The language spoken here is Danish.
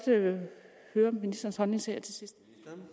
høre ministerens holdning til her til sidst